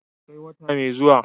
sai wata mai zuwa